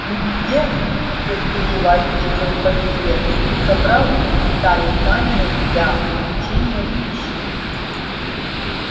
нигде терпеливо ответил пониетс собрал из деталей камеры для облучения пищи